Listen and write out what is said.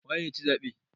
Waye ya ci zaɓe?